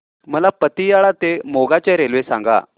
मला पतियाळा ते मोगा च्या रेल्वे सांगा